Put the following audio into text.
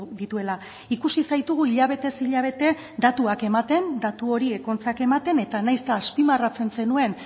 dituela ikusi zaitugu hilabetez hilabete datuak ematen datu horiek ontzat ematen eta nahiz eta azpimarratzen zenuen